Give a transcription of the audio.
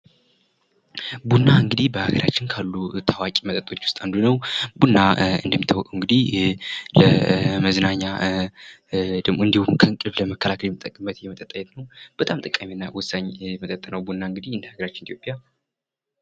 ቡና እንግዲህ በሀገራችን ውስጥ ካሉ ታዋቂ መጠጦች ውስጥ አንዱ ነው ቡና እንደሚታወቀው እግዲህ ለመዝናኛ እንድሁም እንቅልፍ ለመከላከል የምንጠቀምበት የመጠጥ አይነት ነው በጣም ጠቃሚና ወሳኝ መጠጥ ነው ቡና እንግዲህ በሀገራችን ኢትዮጵያ